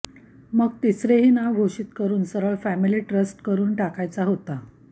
मग तिसरेही नाव घोषित करून सरळ फॅमिली ट्रस्ट करून टाकायचा होता